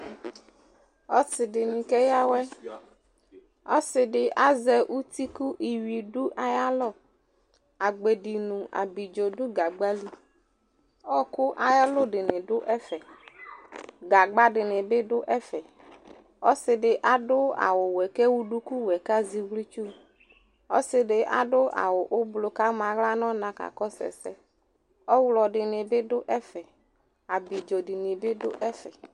Ɔsɩ dɩnɩ keyǝ awɛ Ɔsɩ dɩ azɛ uti kʋ iyui dʋ ayalɔ Agbedi nʋ abidzo dʋ gagba li Ɔɣɔkʋ ayʋ ɛlʋ dɩnɩ dʋ ɛfɛ Gagba dɩnɩ bɩ dʋ ɛfɛ Ɔsɩ dɩ adʋ awʋwɛ kʋ ewu dukuwɛ kʋ azɛ iɣlitsu Ɔsɩ dɩ adʋ awʋ ʋblɔ kʋ ama aɣla nʋ ɔna kakɔsʋ ɛsɛ Ɔɣlɔ dɩnɩ bɩ dʋ ɛfɛ Abidzo dɩnɩ bɩ dʋ ɛfɛ